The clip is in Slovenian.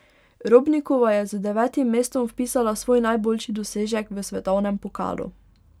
Robnikova je z devetim mestom vpisala svoj najboljši dosežek v svetovnem pokalu.